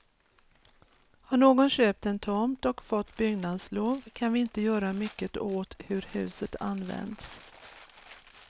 Har någon köpt en tomt och fått byggnadslov kan vi inte göra mycket åt hur huset används.